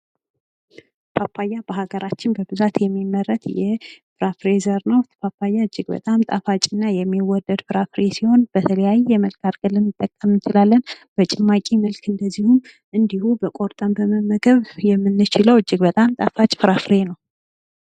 ፓፓያ በሀገራችን በብዛት የሚመረት የፍራፍሬ ዘር ነው። ፓፓያ እጅግ በጣም ጣፋጭ እና የሚወደድ ፍራፍሬ ሲሆን በተለያየ መንገድ ልንጠቀም እንችላለን። በጭማቂ መልክ እንድሁም ቆርጠን መመገብ የምንችለው እጅግ በጣም